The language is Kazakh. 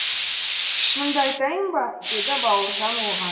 шынымды айтайын ба деді бауыржан оған